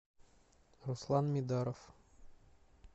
руслан мидаров